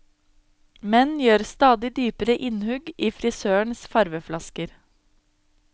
Menn gjør stadig dypere innhugg i frisørenes farveflasker.